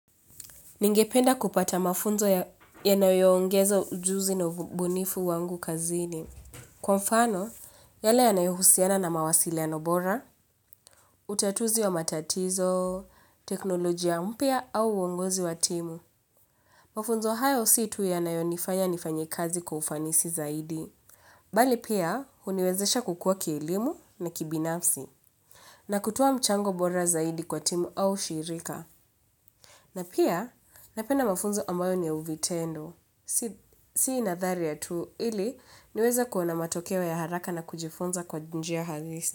Ningependa kupata mafunzo yanayoongeza ujuzi na ubunifu wangu kazini. Kwa mfano, yale ya nayohusiana na mawasiliano bora, utatuzi wa matatizo, teknolojia mpya au uongozi wa timu. Mafunzo hayo si tu yanayonifanya nifanye kazi kwa ufanisi zaidi. Mbali pia, huniwezesha kukua kielimu na kibinafsi. Na kutoa mchango bora zaidi kwa timu au shirika. Na pia, napena mafunzo ambayo ni ya uvitendo. Sina thara tu ili niweza kuona matokeo ya haraka na kujifunza kwa njia halisi.